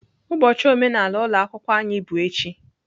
Ụbọchị omenala ụlọ akwụkwọ anyị bụ echi.